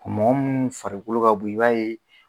Mɔgɔ minnu farikolo ka bon i b'a ye